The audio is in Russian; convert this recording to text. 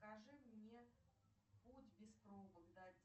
покажи мне путь без пробок